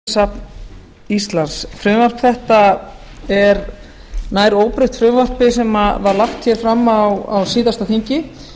frú forseti ég mæli hér fyrir frumvarpi til laga um náttúruminjasafn íslands frumvarp þetta er nær óbreytt frumvarpi sem var lagt hér fram á síðasta þingi